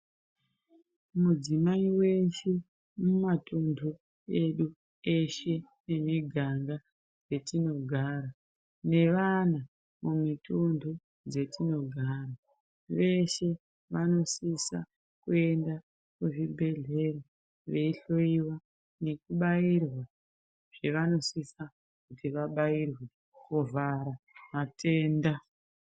Mudzimai weshe mumatundu edu teshe emiganga yatinogara nevana mumitundu dzatinogara veshe vanosisa kuenda kuzvibhedhlera veihloiwa nekubairaa zvavanodisa kuti vabairwe kuvhara matenda.